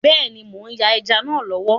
Bẹ́ẹ̀ni, mò ń yan ẹja náà lọ́wọ́.